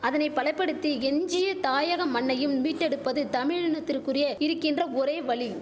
அதனை பலபடுத்தி எஞ்சிய தாயக மண்ணையும் மீட்டெடுப்பது தமிழினத்திற்குரிய இரிக்கின்ற ஒரே வழி